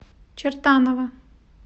чертаново